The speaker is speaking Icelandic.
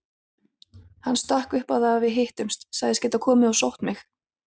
Hann stakk upp á að við hittumst, sagðist geta komið og sótt mig.